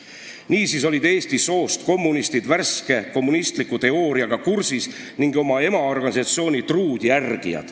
Niisiis olid eesti soost kommunistid värske kommunistliku teooriaga kursis ning oma emaorganisatsiooni truud järgijad.